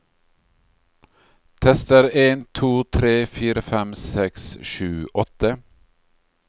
Tester en to tre fire fem seks sju åtte